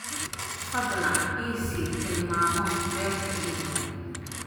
fadlan i sii tilmaamo beerta ii dhow